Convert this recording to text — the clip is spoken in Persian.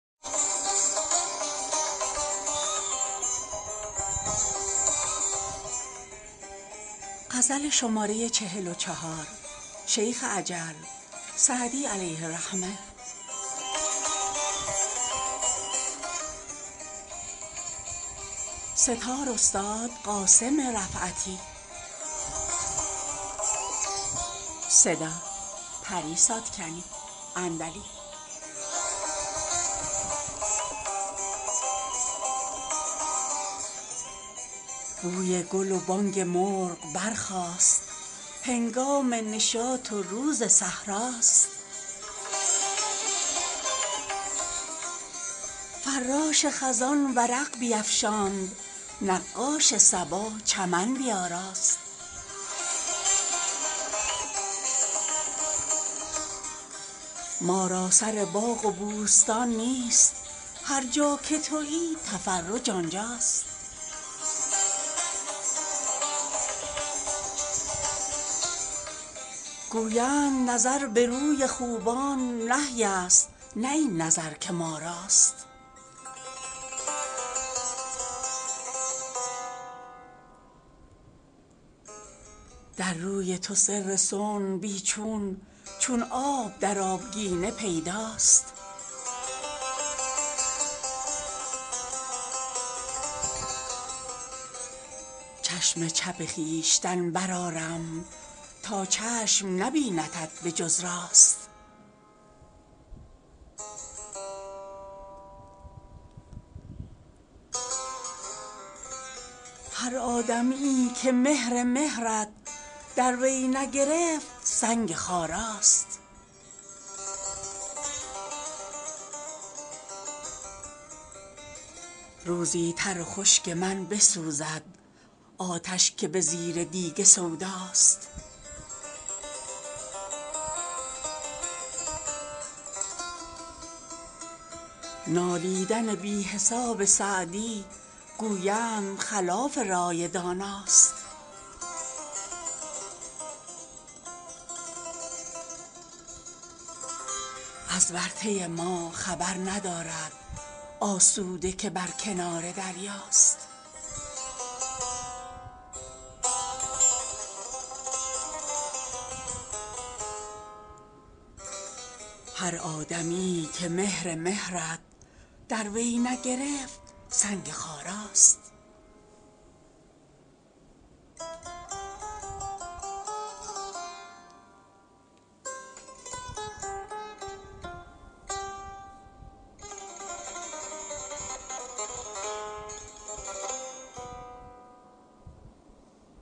بوی گل و بانگ مرغ برخاست هنگام نشاط و روز صحرا ست فراش خزان ورق بیفشاند نقاش صبا چمن بیاراست ما را سر باغ و بوستان نیست هر جا که تویی تفرج آنجا ست گویند نظر به روی خوبان نهی ست نه این نظر که ما راست در روی تو سر صنع بی چون چون آب در آبگینه پیدا ست چشم چپ خویشتن برآرم تا چشم نبیندت به جز راست هر آدمیی که مهر مهرت در وی نگرفت سنگ خارا ست روزی تر و خشک من بسوزد آتش که به زیر دیگ سودا ست نالیدن بی حساب سعدی گویند خلاف رای دانا ست از ورطه ما خبر ندارد آسوده که بر کنار دریا ست